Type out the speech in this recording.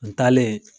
N taalen